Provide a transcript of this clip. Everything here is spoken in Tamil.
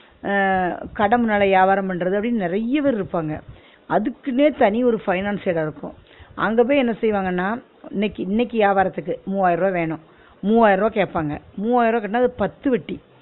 ஆ கட முன்னால யாவாரம் பண்ணுறது அப்பிடின்னு நிறய பேர் இருப்பாங்க, அதுக்குன்னே தனி ஒரு finance ஏ நடக்கும். அங்க போயி என்ன செய்வாங்கன்னா? இன்னிக்கி இன்னிக்கி வியாபாரத்துக்கு மூவாயிருவா வேணும் மூவாயிர ருவா கேட்பாங்க மூவாயிர ருவா கட்டுன்னா அது பத்து வட்டி